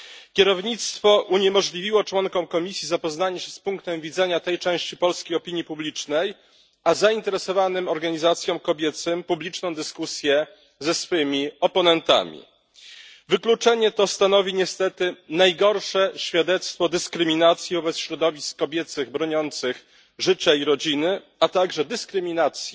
Kierownictwo uniemożliwiło członkom komisji zapoznanie się z punktem widzenia tej części polskiej opinii publicznej a zainteresowanym organizacjom kobiecym publiczną dyskusję ze swymi oponentami. Wykluczenie to stanowi niestety najgorsze świadectwo dyskryminacji wobec środowisk kobiecych broniących życia i rodziny, a także dyskryminacji